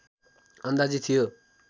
अन्दाजी थियो